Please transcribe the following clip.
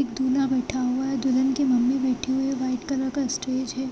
एक दूल्हा बैठा हुआ है दुल्हन की मम्मी बैठी हुई है व्हाइट कलर का स्टेज है।